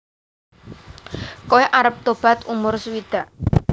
Koe arep tobat umur sewidak